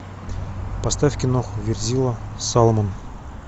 поставь киноху верзила салмон